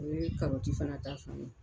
O ye karɔti fana ta fan ye.